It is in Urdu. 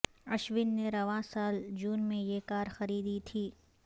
اشون نے رواں سال جون میں یہ کار خریدی تھی